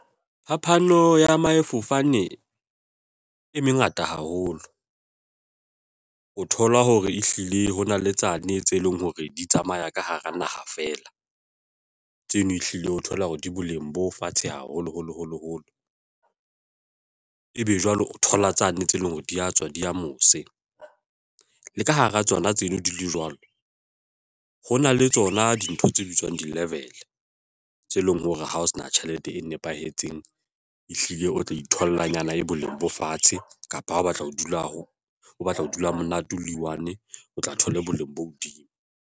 Phapano ya maefofane e mengata haholo ho thola hore ehlile ho na le tsane tse leng hore di tsamaya ka hara naha feela tseno ehlile ho thola hore di boleng bo fatshe haholoholo holo holo ebe jwale o thola tsane tse leng hore di ya tswa di ya mose le ka hara tsona tseno di le jwalo, ho na le tsona dintho tse bitswang di-level e leng hore ha o sena tjhelete e nepahetseng ehlile o tlo itholla nyana e boleng bo fatshe kapa ha o batla ho dula ha o batla ho dula ha monate o le one o tla thole boleng bo hodimo.